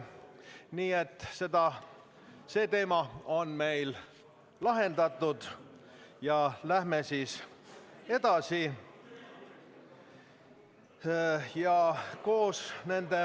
Nii et see teema on meil lahendatud ja läheme edasi.